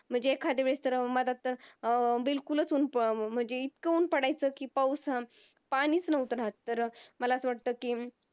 म्हणजे एखाद्यावेळेस अं म्हटलं तर अं बिलकुलच उन्ह पण म्हणजे इतक उन्ह पडायचं कि पाऊस पाणीच नव्हतं राहत तर मला अस वाटत कि